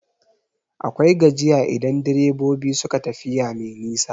Akwai gajiya idan direbobi suka tafiya mai nisa.